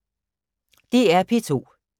DR P2